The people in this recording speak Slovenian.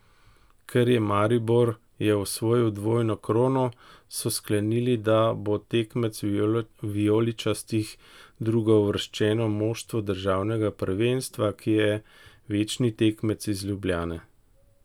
Ker je Maribor je osvojil dvojno krono, so sklenili, da bo tekmec vijoličastih drugouvrščeno moštvo državnega prvenstva, ki je večni tekmec iz Ljubljane.